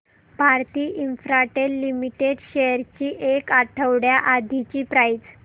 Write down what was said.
Bharti Infratel limited shares ची एक आठवड्या आधीची प्राइस